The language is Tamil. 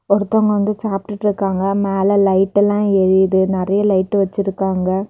ஒருத்தங்க வந்து சாப்டுட்ருக்காங்க மேல லைட் எல்லா எரியுது நறைய லைட் வச்சிருக்காங்க.